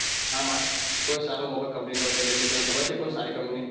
હા કોઈ સારો mobile company હોય તો લીઈલઈએ તમને ખબર છે કોઈ સારી company